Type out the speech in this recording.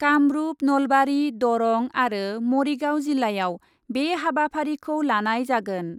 कामरुप , नलबारि , दरं आरो मरिगाव जिल्लायाव बे हाबाफारिखौ लानाय जागोन ।